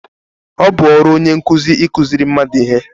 Ọ bụ ọrụ onye nkụzi ịkụziṛị mmadụ ihe